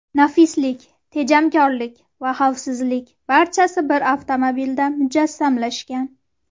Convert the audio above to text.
Nafislik, tejamkorlik va xavfsizlik barchasi bir avtomobilda mujassamlashgan!